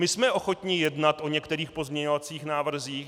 My jsme ochotni jednat o některých pozměňovacích návrzích.